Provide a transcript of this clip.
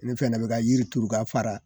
Ne fɛnɛ be ka yiri turu k'a fara